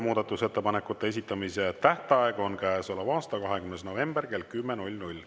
Muudatusettepanekute esitamise tähtaeg on käesoleva aasta 20. november kell 10.